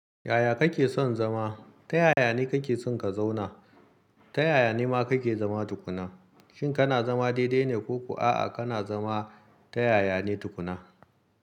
Yaya kake son zama? Ta yaya ne kake son ka zauna? Ta yaya ne ma kake zama tukuna? Shin kana zama daidai ne ko kuwa a'a kana zama ta yaya ne tukuna?